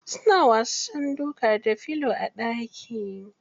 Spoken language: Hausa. Suna wasan duka da filo a ɗaki.